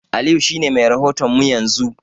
Aliyu shi ne mai rahoto mu yanzu.